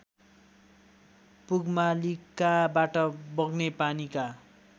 पुगमालिकाबाट बग्ने पानीका